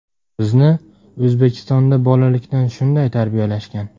Bizni O‘zbekistonda bolalikdan shunday tarbiyalashgan.